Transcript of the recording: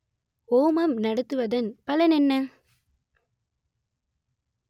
ஹோமம் நடத்துவதன் பலன் என்ன